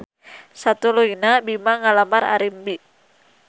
Satuluyna Bima ngalamar Arimbi.